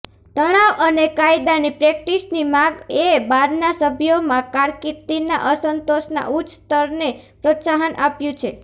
તણાવ અને કાયદાની પ્રેક્ટિસની માગએ બારના સભ્યોમાં કારકિર્દીના અસંતોષના ઉચ્ચ સ્તરને પ્રોત્સાહન આપ્યું છે